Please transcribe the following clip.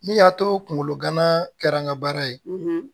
Min y'a to kungolo gana kɛra nga baara ye